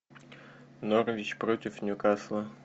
норвич против ньюкасла